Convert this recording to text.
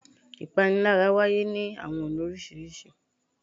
Ìpanilára wáyé ni awọn ọna oriṣiriṣi